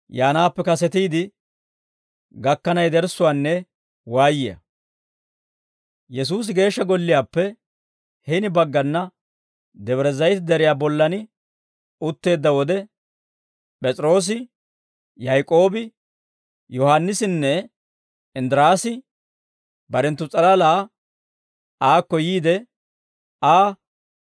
Yesuusi Geeshsha Golliyaappe hini baggana Debre Zayite Deriyaa bollan utteedda wode, P'es'iroosi, Yaak'oobi, Yohaannisinne Inddiraasi barenttu s'alala aakko yiide Aa,